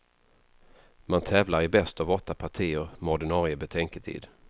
Man tävlar i bäst av åtta partier med ordinarie betänketid.